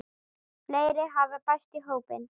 Fleiri hafa bæst í hópinn.